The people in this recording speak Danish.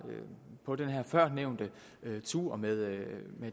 på den her førnævnte tur med